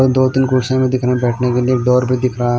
दो तीन कुर्सिये दिख रहीं है बैठने के लिए डोर पे दिख रहा है।